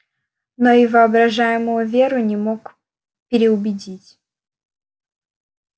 но и воображаемую веру не мог переубедить